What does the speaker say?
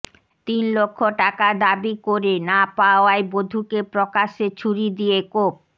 তিন লক্ষ টাকা দাবি করে না পাওয়ায় বধূকে প্রকাশ্যে ছুরি দিয়ে কোপ